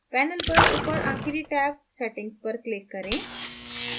panel पर ऊपर आखिरी टैब settings पर click करें